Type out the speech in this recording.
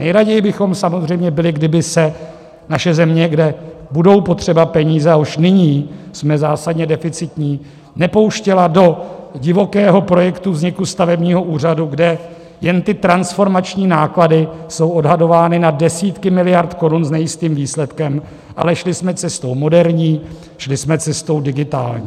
Nejraději bychom samozřejmě byli, kdyby se naše země, kde budou potřeba peníze a už nyní jsme zásadně deficitní, nepouštěla do divokého projektu vzniku stavebního úřadu, kde jen ty transformační náklady jsou odhadovány na desítky miliard korun s nejistým výsledkem, ale šli jsme cestou moderní, šli jsme cestou digitální.